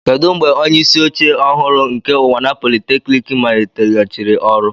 Kedu mgbe onye isi oche ọhụrụ nke Unwana polytechnic maliteghachiri ọrụ?